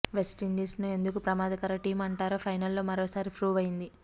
West Indies ను ఎందుకు ప్రమాదకర టీం అంటారో ఫైనల్లో మరోసారి ప్రూవ్ అయింది